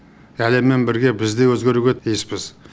әлеммен бірге біз де өзгеруге тиіспіз